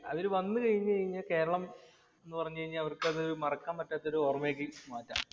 അവര് വന്നു കഴിഞ്ഞു കഴിഞ്ഞാൽ കേരളം എന്ന് പറഞ്ഞു കഴിഞ്ഞാൽ അവർക്ക് മറക്കാൻ പറ്റാത്ത ഓർമ്മയാക്കി മാറ്റാം.